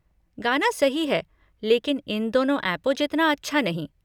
गाना सही है लेकिन इन दोनों ऐपों जितना अच्छा नहीं।